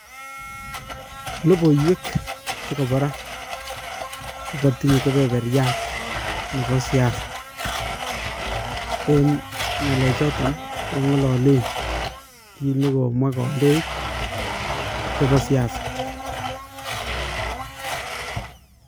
Logoiwek chekobo raa kogatinye kibeberyat nebo siasa. Eng' ng'alech choton kong'alalen kiit negomwa kandoik chebo siasa.